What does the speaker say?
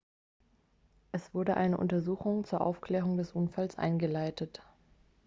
es wurde eine untersuchung zur aufklärung des unfalls eingeleitet